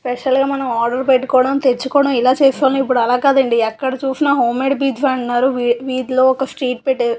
special గా మనం order పెట్టుకోవడం తెచ్చుకోవడం ఇలా చేసేవాళ్ళం ఇప్పుడు అలా కాదు అండి ఎక్కడ చూసినా హోం మేడ్ పిజ్జా అంటున్నారు వీ వీథిలో ఒక స్ట్రీట్ పెట్టేసి --